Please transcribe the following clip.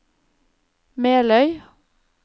Meløy